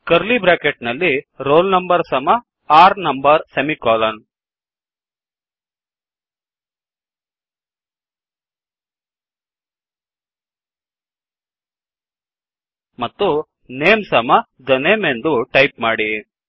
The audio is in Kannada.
ಕರ್ಲೀ ಬ್ರ್ಯಾಕೆಟ್ ನಲ್ಲಿ roll number ಸಮ r no ಮತ್ತು ನೇಮ್ ಸಮ the name160 ಎಂದು ಟೈಪ್ ಮಾಡಿ